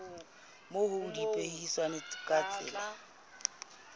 moo ho ipehilweng ka tsela